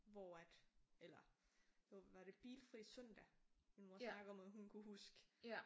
Hvor at eller hvad var det bilfri søndag min mor snakkede om at hun kunne huske